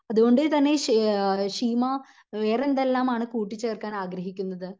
അത്കൊണ്ട് തന്നെ ശേ ശീമ വേറെന്തെല്ലാം ആണ് കൂട്ടിച്ചേർക്കാൻ ആഗ്രഹിക്കുന്നത്